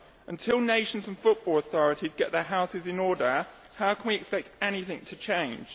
Until nations and football authorities get their houses in order, how can we expect anything to change?